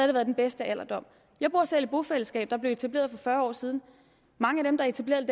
det været den bedste alderdom jeg bor selv i et bofællesskab der blev etableret for fyrre år siden mange af dem der etablerede